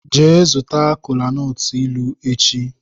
Jee zuta kolanut ilu echi!